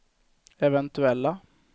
eventuella